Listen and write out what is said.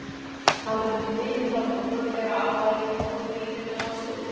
Hann ætti vini þar og möguleika á að lifa góðu lífi með aðstoð þeirra.